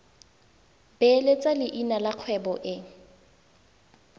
beeletsa leina la kgwebo e